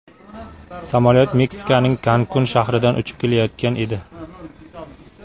Samolyot Meksikaning Kankun shahridan uchib kelayotgan edi.